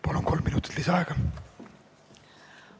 Palun, kolm minutit lisaaega!